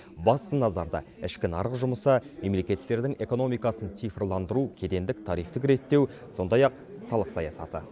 басты назарда ішкі нарық жұмысы мемлекеттердің экономикасын цифрландыру кедендік тарифтік реттеу сондай ақ салық саясаты